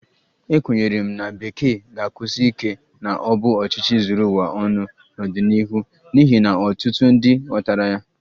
Ekwenyere m na Bekee ga-ekwusi ike na ọ bụ ọchịchị zuru ụwa ọnụ n'ọdịnihu n'ihi na ọtụtụ ndị ghọtara ya